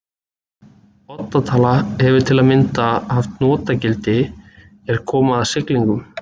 Odda tala hefur til að mynda haft notagildi er kom að siglingum.